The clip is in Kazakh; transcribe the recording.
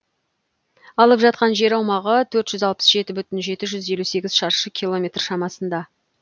алып жатқан жер аумағы төрт жүз алпыс жеті бүтін жеті жүз елу сегіз шаршы километр шамасында